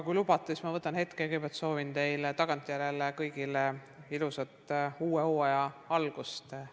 Kui lubate, siis ma kõigepealt soovin teile kõigile tagantjärele ilusat uue hooaja algust!